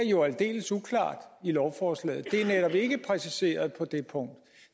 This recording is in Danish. jo er aldeles uklart i lovforslaget det er netop ikke præciseret på det punkt